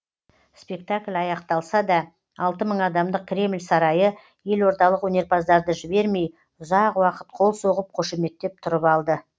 спектакль аяқталса да алты мың адамдық кремль сарайы елордалық өнерпаздарды жібермей ұзақ уақыт қол соғып қошеметтеп тұрып алды